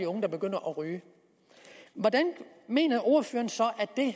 unge begynder at ryge hvordan mener ordføreren så